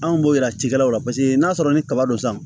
Anw b'o yira cikɛlaw la paseke n'a sɔrɔ ni kaba don sisan